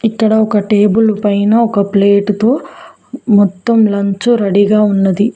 ఇక్కడ ఒక టేబులు పైన ఒక ప్లేటుతో మొత్తం లంచు రెడీగా ఉన్నది.